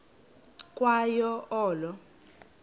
ukwa yo olo